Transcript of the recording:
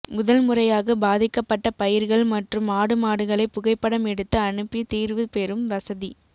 முதல் முறையாக பாதிக்கப்பட்ட பயிர்கள் மற்றும் ஆடுமாடுகளை புகைப்படம் எடுத்து அனுப்பி தீர்வு பெரும் வசதி